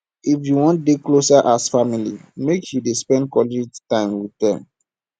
if you wan dey closer as family make you dey spend quality time wit dem